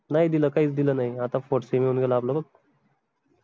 नाई दिल काहीच दिल नाई आता fourth sem येऊन गेला आपलं बघ